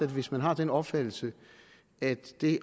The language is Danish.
hvis man har den opfattelse at det at